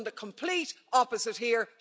We've done the complete opposite here.